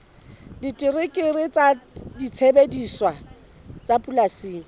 terekere le disebediswa tsa polasing